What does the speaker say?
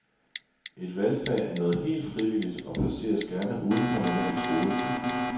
Et valgfag er noget helt frivilligt og placeres gerne uden for normal skoletid.